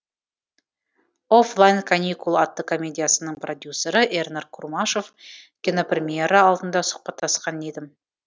оффлайн каникул атты комедиясының продюсері эрнар курмашев кинопремьера алдында сұхбаттасқан едім